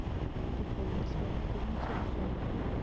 пополнить свой мобильный телефон